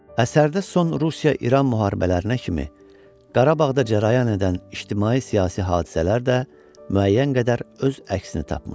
Əsərdə son Rusiya-İran müharibələrinə kimi Qarabağda cərəyan edən ictimai-siyasi hadisələr də müəyyən qədər öz əksini tapmışdı.